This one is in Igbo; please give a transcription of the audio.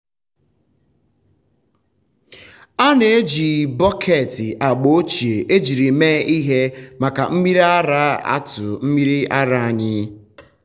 a na-eji bọket agba ochie ejiri mee ihe maka mmiri ara atụ mmiri ara anyị.